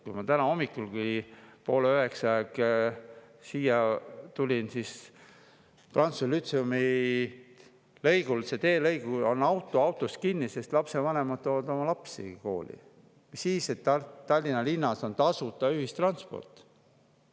Kui ma täna hommikulgi poole üheksa aeg siia tulin, siis prantsuse lütseumi teelõigul oli auto autos kinni, sest lapsevanemad viivad oma lapsi kooli, mis siis, et Tallinna linnas on tasuta ühistransport.